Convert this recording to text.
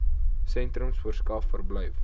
sentrums verskaf verblyf